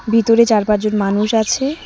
ভিতরে চার পাঁচজন মানুষ আছে।